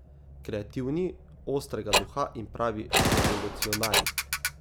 Kreativni, ostrega duha in pravi revolucionarji.